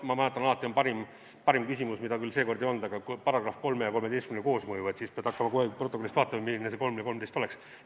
Alati on parim küsimus, mida küll seekord ei olnud, § 3 ja § 13 koosmõju, siis pead hakkama kogu aeg protokollist vaatama, millised need § 3 ja § 13 olid.